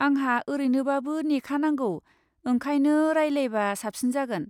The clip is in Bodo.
आंहा ओरैनोबाबो नेखानांगौ, ओंखायनो रायलायबा साबसिन जागोन।